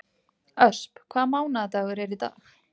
Ösp, hvaða mánaðardagur er í dag?